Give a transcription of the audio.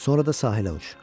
Sonra da sahilə uç.